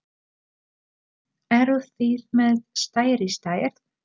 Eruð þið með stærri stærð?